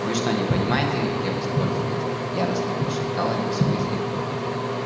вы что не понимаете как я воспользовалась яростно прошептала мисс уизли